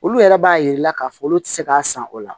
Olu yɛrɛ b'a yir'i la k'a fɔ olu ti se k'a san o la